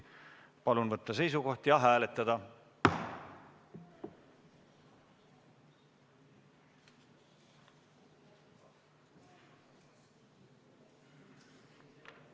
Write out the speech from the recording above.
Palun võtta seisukoht ja hääletada!